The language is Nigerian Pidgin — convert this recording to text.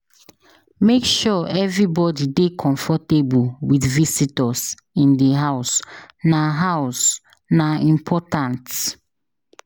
Make sure everybody dey comfortable with visitors in the house; na house; na important.